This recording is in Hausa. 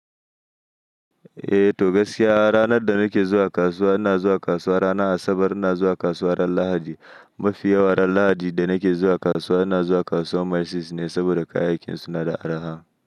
Eh to gaskiya ranar da nake zuwa kasuwa, ina zuwa kasuwa ranar Asabar, ina zuwa kasuwa ran Lahadi. Mafi yawa ran lahadi yadda nake zuwa kasuwa ina zuwa kasuwan mysis ne saboda kayayya kin sun na da arha.